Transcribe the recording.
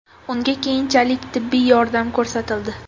Unga keyinchalik tibbiy yordam ko‘rsatildi.